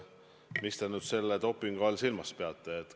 Mida te nüüd selle dopingu all silmas peate?